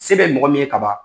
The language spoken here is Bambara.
Se bɛ mɔgɔ min ye ka ban.